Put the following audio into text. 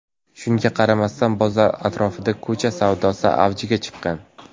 Shunga qaramasdan bozor atrofida ko‘cha savdosi avjiga chiqqan.